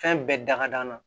Fɛn bɛɛ da ka d'an na